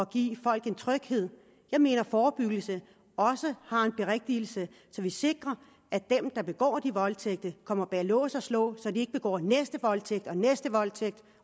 give folk en tryghed jeg mener at forebyggelse også har en berettigelse så vi sikrer at dem der begår de voldtægter kommer bag lås og slå så de ikke begår den næste voldtægt og den næste voldtægt